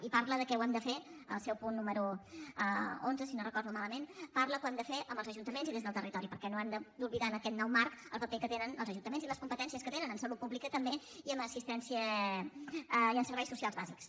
i parla que ho hem de fer al seu punt número onze si no recordo malament amb els ajuntaments i des del territori perquè no hem d’oblidar en aquest nou marc el paper que tenen els ajuntaments i les competències que tenen en salut pública també i en assistència i en serveis socials bàsics